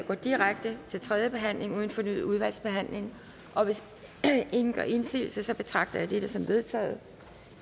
går direkte til tredje behandling uden fornyet udvalgsbehandling og hvis ingen gør indsigelse betragter jeg dette som vedtaget